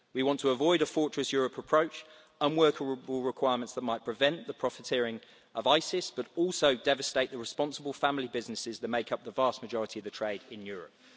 We want to avoid a ʻfortress Europeʼ approach and unworkable requirements that might prevent the profiteering of Isis but also devastate the responsible family businesses that make up the vast majority of the trade in Europe.